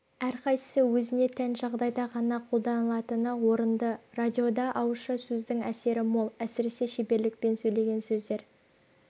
әрқайсысы өзіне тән жағдайда ғана қолданылатыны орынды радиода ауызша сөздің әсері мол әсіресе шеберлікпен сөйлеген сөздер